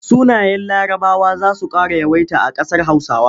Sunayen Larabawa za su ƙara yawaita a ƙasar Hausa.